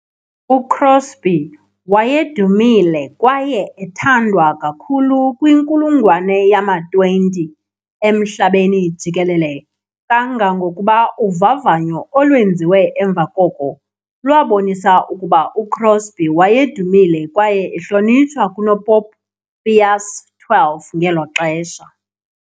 UCrosby wayedumile kwaye ethandwa kakhulu kwinkulungwane yama-20 emhlabeni jikelele kangangokuba uvavanyo olwenziwe emva koko lwabonisa ukuba uCrosby wayedumile kwaye ehlonitshwa kunoPopu Pius XII ngelo xesha.